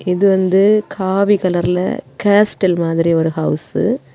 இது வந்து காவி கலர்ல காஸ்டல் மாதிரி ஒரு ஹவுஸ்ஸு .